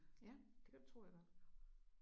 Ja det kan du tro jeg gør